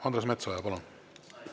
Andres Metsoja, palun!